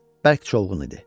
Bərk çovğun idi.